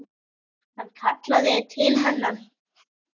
Hann kallaði til hennar.